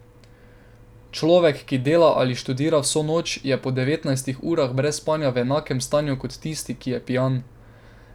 Človek, ki dela ali študira vso noč, je po devetnajstih urah brez spanja v enakem stanju kot tisti, ki je pijan.